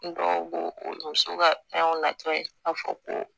N dɔw b'o o muso ka fɛnw latɔ ye k'a fɔ ko